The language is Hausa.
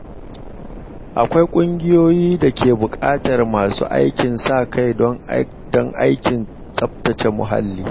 Akwai kungiyoyi da ke buƙatar masu aikin sa-kai don aikin tsaftace muhalli.